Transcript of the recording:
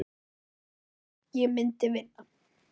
Enginn vafi, ég myndi vinna